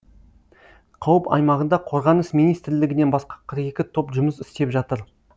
қауіп аймағында қорғаныс министрлігінен басқа қырық екі топ жұмыс істеп жатыр